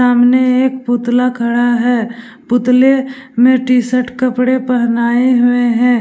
सामने एक पुतला खड़ा है पुतले मे टी-शर्ट कपड़े पहनाए हुए है ।